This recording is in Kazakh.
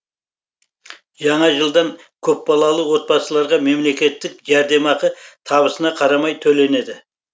жаңа жылдан көпбалалы отбасыларға мемлекеттік жәрдемақы табысына қарамай төленеді